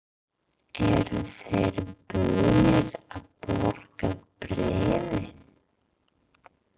Eru þeir búnir að borga bréfin?